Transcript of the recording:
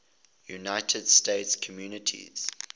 united states communities